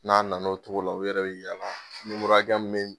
N'a nana o togo la u yɛrɛ be yala numoro hakɛ min be yen